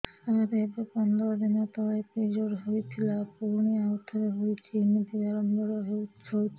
ସାର ଏବେ ପନ୍ଦର ଦିନ ତଳେ ପିରିଅଡ଼ ହୋଇଥିଲା ପୁଣି ଆଉଥରେ ହୋଇଛି ଏମିତି ବାରମ୍ବାର ହଉଛି